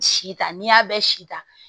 Si ta n'i y'a bɛɛ si ta